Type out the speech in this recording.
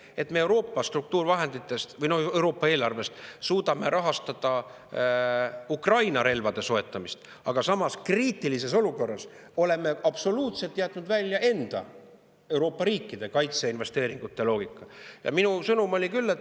Aga me suudame Euroopa eelarvest rahastada Ukrainale relvade soetamist, kuid samas oleme kriitilises olukorras jätnud sealt absoluutselt välja enda, Euroopa riikide kaitseinvesteeringute loogika.